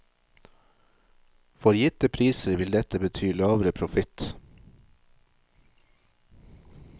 For gitte priser vil dette bety lavere profitt.